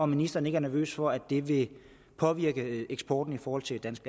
ministeren ikke er nervøs for at det vil påvirke eksporten i forhold til dansk